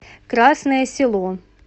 красное село